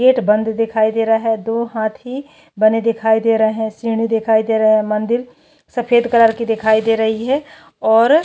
gate बंद दिखाई दे रहा है दो हाथि बने दिखाई दे रहे श्रीनि दिखाई दे रहे है मंदिर सफेद कलर के दिखाई दे रही है ओर--